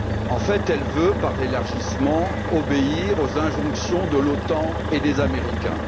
En fait, elle veut, par l'élargissement, obéir aux injonctions de l'OTAN et des Américains.